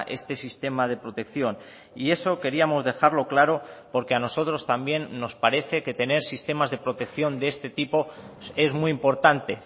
este sistema de protección y eso queríamos dejarlo claro porque a nosotros también nos parece que tener sistemas de protección de este tipo es muy importante